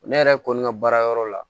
Ne yɛrɛ kɔni ka baara yɔrɔ la